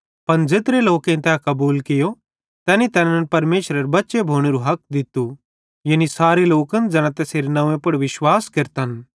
पन ज़ेत्रे लोकेईं तै कबूल कियो तैनी तैनन् परमेशरेरे बच्चे भोनेरू हक दित्तू यानी सारे लोकन ज़ैना तैसेरे नंव्वे पुड़ विश्वास केरतन